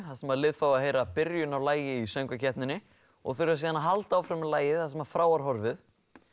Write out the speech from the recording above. þar sem liðin fá að heyra byrjun á lagi í söngvakeppninni og þurfa síðan að halda áfram með lagið þar sem frá var horfið